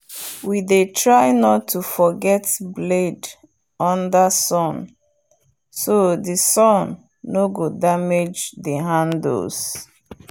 we dey try not to forget blade under sunbro the sun nor go demage the handles